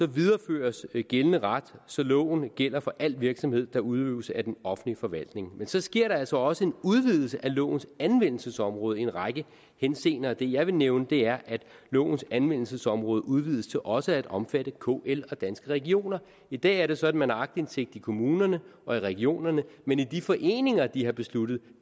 videreføres gældende ret så loven gælder for al virksomhed der udøves af den offentlige forvaltning men så sker der altså også en udvidelse af lovens anvendelsesområde i en række henseender og det jeg vil nævne er at lovens anvendelsesområde udvides til også at omfatte kl og danske regioner i dag er det sådan at man har aktindsigt i kommunerne og i regionerne men i de foreninger hvor de har besluttet